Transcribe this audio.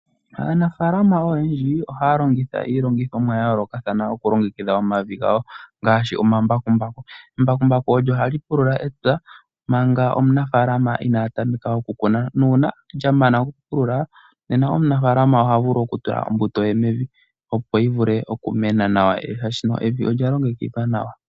Aanafalama oyendji ohaya longitha iilongithomwa ya yoolokathana okulongekidha omavi gawo ngaashi omambakumbaku. Embakumbaku olyo ha li pulula epya manga omunafaalama inaya tameka okukuna. Nuuna lya mana okupulula nena omunafaalama oha vulu okutula ombuto ye mevi opo yi vule okumena nawa shaashi evi olya longekidhwa nawa.